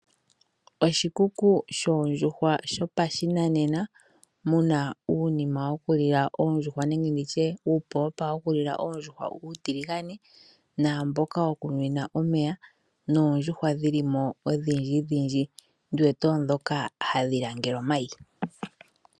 Oshikuku shoondjuhwa shopashinanena mu na uunima wokulila oondjuhwa uutiligane naamboka wokunwina omeya noondjuhwa dhi li mo odhindjidhindji ndi wete oondhoka hadhi langele omayi.